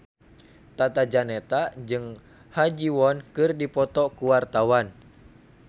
Tata Janeta jeung Ha Ji Won keur dipoto ku wartawan